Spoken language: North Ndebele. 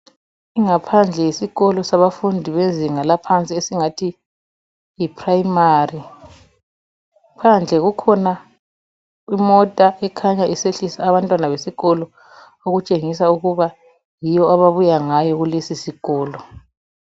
Ingaphandle yesikolo sabafundi bezinga laphansi esingathi yiprimary. Phandle kukhona imota ekhanya isehlisa abantwana besikolo, okutshengisa ukuba yiyo ababuya ngayo kulesisikolo.